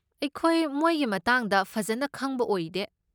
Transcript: ꯑꯩꯈꯣꯏ ꯃꯣꯏꯒꯤ ꯃꯇꯥꯡꯗ ꯐꯖꯟꯅ ꯈꯪꯕ ꯑꯣꯏꯗꯦ꯫